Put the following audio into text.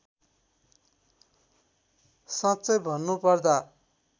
साँच्चै भन्नुपर्दा